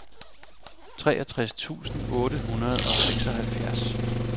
treogtres tusind otte hundrede og seksoghalvfjerds